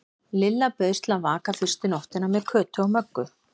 Lilla bauðst til að vaka fyrstu nóttina með Kötu og Möggu.